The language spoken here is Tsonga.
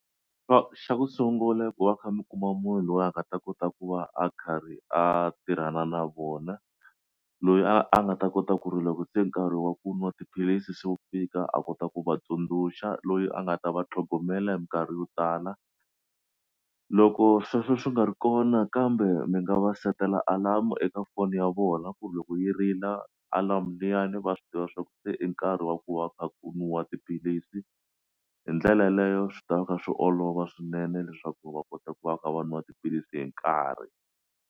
Xa xa ku sungula ku va kha mi kuma munhu loyi a nga ta kota ku va a karhi a tirhana na vona loyi a nga ta kota ku ri loko se nkarhi wa ku nwa tiphilisi se wu fika a kota ku vatsundzuxa loyi a nga ta va tlhogomela hi minkarhi yo tala loko sweswo swi nga ri kona kambe mi nga va seketela alarm eka foni ya vona ku loko yi rila alarm liyani va swi tiva swa ku se i nkarhi wa ku va u kha u nwa tiphilisi hi ndlela yeleyo swi ta ka swi olova swinene leswaku va kota ku va va kha va nwa tiphilisi hi nkarhi.